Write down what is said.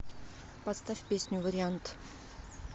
поставь песню вариант